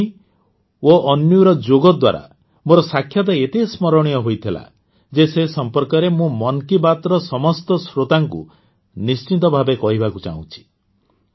ଅନ୍ୱୀ ଓ ଅନ୍ୱୀର ଯୋଗ ଦ୍ୱାରା ମୋର ସାକ୍ଷାତ ଏତେ ସ୍ମରଣୀୟ ହୋଇଗଲା ଯେ ସେ ସମ୍ପର୍କରେ ମୁଁ ମନ୍ କୀ ବାତ୍ର ସମସ୍ତ ଶ୍ରୋତାଙ୍କୁ ନିଶ୍ଚିତ ଭାବେ କହିବାକୁ ଚାହୁଁଛି